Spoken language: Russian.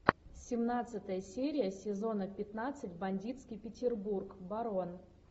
семнадцатая серия сезона пятнадцать бандитский петербург барон